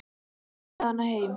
Fórstu með hana heim?